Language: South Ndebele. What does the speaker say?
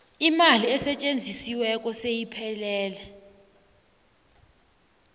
imali esetjenzisiweko seyiphelele